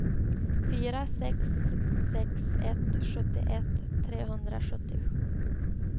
fyra sex sex ett sjuttioett trehundrasjuttio